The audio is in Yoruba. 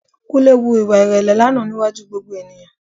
Kúnlé hu ìwà ìrẹ̀lẹ̀ lánàá níwájú gbogbo ènìyàn